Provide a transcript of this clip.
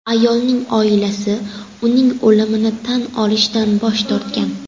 Ayolning oilasi uning o‘limini tan olishdan bosh tortgan.